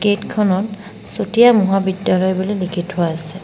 Gate খনত চতিয়া মহাবিদ্যালয় বুলি লিখি থোৱা আছে।